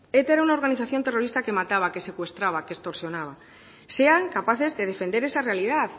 eta era una organización terrorista que mataba que secuestraba que extorsionaba sean capaces de defender esa realidad